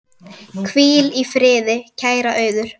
Hvíl í friði, kæra Auður.